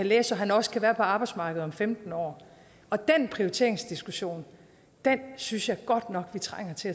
læse så han også kan være på arbejdsmarkedet om femten år den prioriteringsdiskussion synes jeg godt nok vi trænger til